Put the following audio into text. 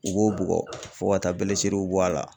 U b'o bugɔ fo ka taa bɔ a la.